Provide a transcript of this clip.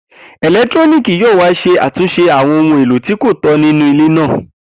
Eletiriki yoo wa ṣe atunṣe awọn ohun elo ti ko tọ ninu ile naa.